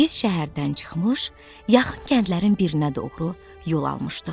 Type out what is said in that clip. Biz şəhərdən çıxmış, yaxın kəndlərin birinə doğru yol almışdıq.